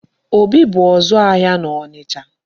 Obi bụ ọzụ ahịa n'Ọnịcha.